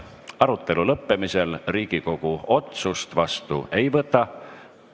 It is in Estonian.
Arutelu lõppemisel Riigikogu otsust vastu ei võta.